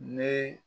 Ne